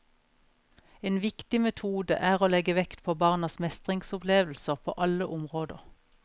En viktig metode er å legge vekt på barnas mestringsopplevelser på alle områder.